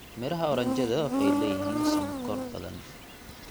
Midhaha oranjada waxay leeyihiin sonkor badan.